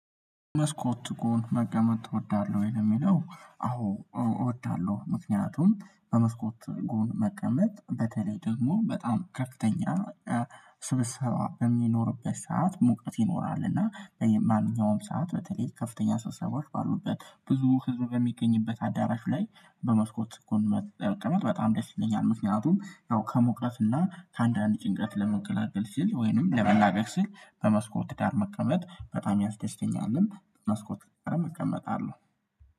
መስኮት ጎን መቀመጥ ትወዳለህ ወይ ለሚለው አዎ እወዳለሁ። ምክንያቱም በመስኮት ጎን መቀመጥ በተለይ ደግሞ በጣም ከፍተኛ ስብሰባ በሚኖርበት ሰዓት ሙቀት ይኖራል እና በማንኛውም ሰዓት በተለይ ከፍተኛ ሰው ሰዎች ባሉበት ብዙ ህዝብ የሚገኝበት አዳራሽ ላይ በመስኮት ጎን መቀመጥ በጣም ደስ ይለኛል። ምክንያቱም ያው ከሙቀት እና ከአንዳንድ ጭንቀት ለመገላገል ስል ወይንም ለመላበቅ ስል በመስኮት ዳር መቀመጥ በጣም ያስተስተኛልን መስኮት ጋም እቀመጣለሁ